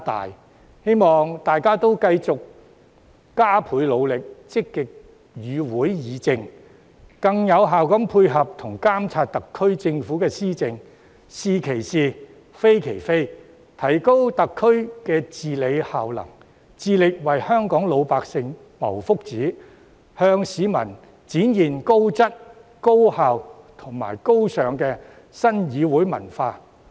我希望大家繼續加倍努力，積極與會議政，更有效地配合及監察特區政府施政，是其是，非其非，提高特區的治理效能，致力為香港老百姓謀福祉，向市民展現高質、高效及高尚的新議會文化。